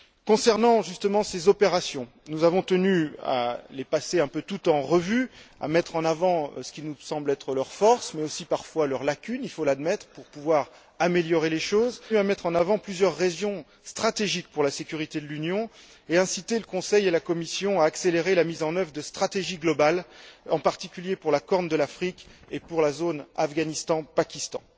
Concernant justement ces opérations, nous avons tenu à les passer toutes en revue, à mettre en avant ce qui nous semble être leurs forces, mais aussi, parfois, leurs lacunes il faut les admettre pour pouvoir améliorer les choses. Nous avons aussi tenu à mettre en avant plusieurs régions stratégiques pour la sécurité de l'Union et inciter le Conseil et la Commission à accélérer la mise en œuvre de stratégies globales, en particulier pour la Corne de l'Afrique et pour la zone Afghanistan Pakistan.